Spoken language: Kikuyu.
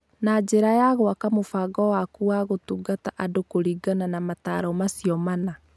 Na njĩra ya gwaka mũbango waku wa gũtungata andũ kũringana na motaaro macio mana,